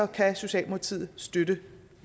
kan socialdemokratiet støtte